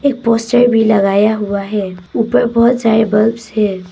Poster भी लगाया हुआ है ऊपर बहुत सारा बल्ब्स हैं।